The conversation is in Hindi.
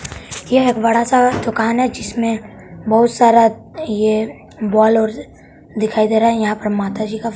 यह एक बड़ा सा दुकान है जिसमें बहुत सारा ये बोल ओल दिखाई दे रहा है यहां पर माता जी का--